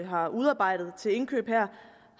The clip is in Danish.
har udarbejdet til indkøb der